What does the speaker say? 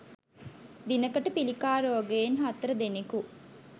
දිනකට පිළිකා රෝගයෙන් හතර දෙනකු